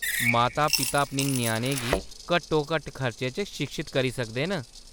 माता-पिता अपने ञ्याणें गी घट्टोघट्ट खर्चे च शिक्षत करी सकदे न।